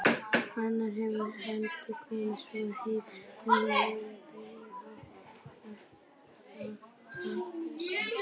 Annaðhvort hefur hann komið svona heim eða verið byrjaður að hátta sig.